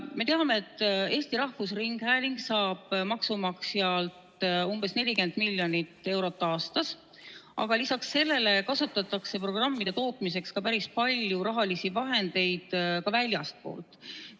Me teame, et Eesti Rahvusringhääling saab maksumaksjalt umbes 40 miljonit eurot aastas, aga lisaks sellele kasutatakse programmide tootmiseks päris palju rahalisi vahendeid ka väljastpoolt.